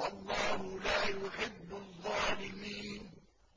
وَاللَّهُ لَا يُحِبُّ الظَّالِمِينَ